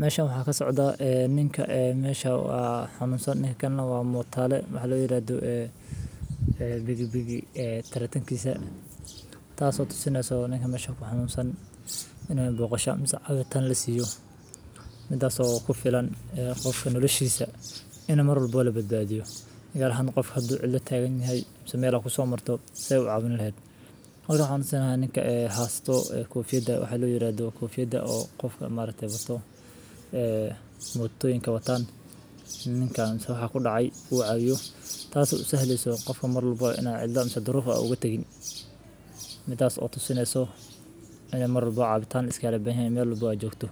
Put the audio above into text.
Meshan waxaa kasocda ninka meeshii haw xanuunsan in kanaga waamo taallo maxaa la yiraahdo. Bigi bigi tirtaankaisa taasoo sinnayso ninkan meesha ku xamuunsan inee booqashada cagirtaan la siiyo mid asoo ku filan qofka noloshahisa in mar labo labaad baadiyo. Iyaga hadan qof kaddu cilla tagin inay sameeyso kusoo marto si caabina ah. Qofka hadan sinnaha ninka haasto kuu fiida waxaa la yiraahdo kuu fiida oo qofka maalintee bato mudug ink wataana. Ninkaan xusii ku dhacay buu caawiyo taasoo sahliiso qofka mar labo inaa cidda cido ruuf uga tagin midaas oo sinnayso in mar labo caabitaan iska bixi doono meel labo joogto.